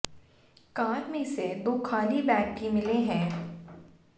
car में से दो खाली बैग भी मिले हैं